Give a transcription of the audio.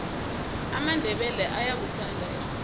amandebele ayakuthanda erholweni